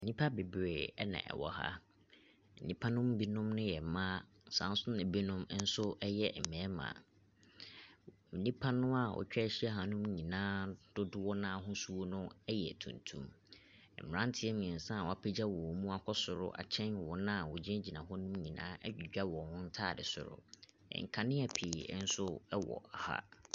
Nipa bebree ɛna ɛwɔ ha. Nipa no binom yɛ mba saso na ebinom nso ɛyɛ mbɛɛma. Nipa naa wetwa ehyia ahanum nyinaa dodoɔ n'ahosuo no ɛyɛ tuntum. Mberantiɛ miɛnsa w'apegya wɔn mu akɔ soro akyen wɔna wɔgyinagyina hɔ nom nyinaa edwidwa wɔn ntaade soro. Nkanea pii ɛnso ɛwɔ ha.